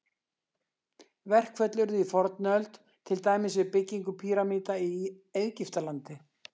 Verkföll urðu í fornöld, til dæmis við byggingu pýramída í Egyptalandi.